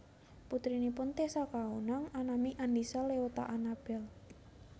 Putrinipun Tessa Kaunang anami Andisa Leota Anabel